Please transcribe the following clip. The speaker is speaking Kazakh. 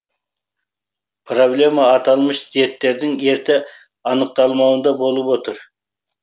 проблема аталмыш дерттердің ерте анықталмауында болып отыр